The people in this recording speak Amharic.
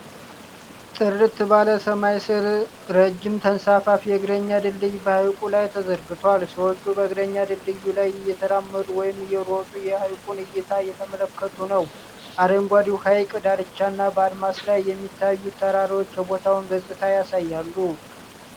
ጥርት ባለ ሰማይ ስር ረጅም ተንሳፋፊ የእግረኛ ድልድይ በሐይቁ ላይ ተዘርግቷል። ሰዎች በእግረኛ ድልድዩ ላይ እየተራመዱ ወይም እየሮጡ የሐይቁን እይታ እየተመለከቱ ነው። አረንጓዴው ሐይቅ ዳርቻና በአድማስ ላይ የሚታዩት ተራሮች የቦታውን ገጽታ ያሳያሉ።